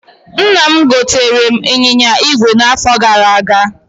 Nna m gotere m ịnyịnya ígwè na afo gara aga